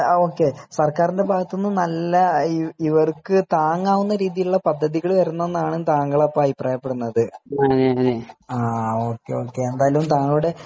ഹാ ഓക്കെ സർക്കാരിന്റെ ഭാഗത്ത് നല്ല ഇവർക്ക് താങ്ങാവുന്ന രീതിയിലുള്ള പദ്ധതികൾ വരണം എന്നാണ് താങ്കൾ അഭിപ്രായപ്പെടുന്നത് ഓക്കെ ഓക്കെ എന്തായാലും താങ്കളുടെ